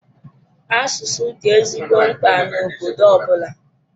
Asụsụ dị ezigbo mkpa na obodo ọbụla.